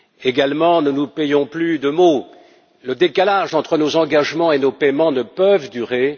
Également, ne nous payons plus de mots, le décalage entre nos engagements et nos paiements ne peut durer.